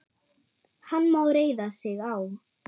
Hann má reiða sig á.